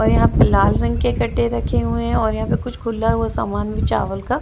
और यहाँ पे लाल रंग के कट्टे रखे हुए है और यहाँ पे कुछ खुला हुआ सामान भी चावल का --